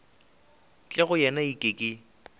tle go wena eke ke